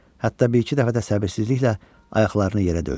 Hətta bir-iki dəfə də səbirsizliklə ayaqlarını yerə döydü.